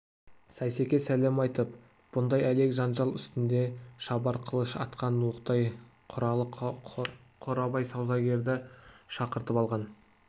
сейсеке сәлем айтып бұндай әлек жанжал үстінде шабар қылыш атқан оқтай құралы қорабай саудагерді шақыртып алған